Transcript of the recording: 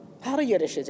Hara yerləşəcək?